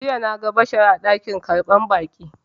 Jiya na ga Bashari a dakin karɓar baƙi.